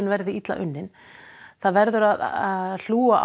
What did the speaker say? verði illa unnar það verður að hlúa